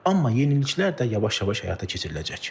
Amma yeniliklər də yavaş-yavaş həyata keçiriləcək.